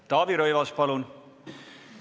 Taavi Rõivas, palun!